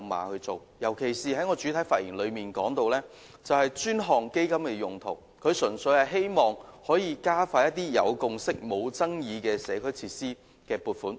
我在主體發言時提到專項基金的用途，純粹是希望加快一些有共識而無爭議的社區設施撥款。